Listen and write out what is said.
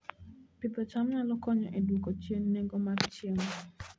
Pidho cham nyalo konyo e dwoko chien nengo mar chiemo